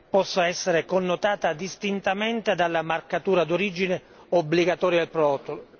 possano essere connotate distintamente dalla marcatura d'origine obbligatoria del prodotto.